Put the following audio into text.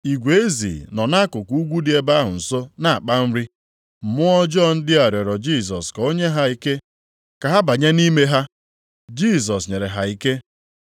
Igwe ezi nọ nʼakụkụ ugwu dị ebe ahụ nso na-akpa nri. Mmụọ ọjọọ ndị a rịọrọ Jisọs ka o nye ha ike ka ha banye nʼime ha. Jisọs nyere ha ike.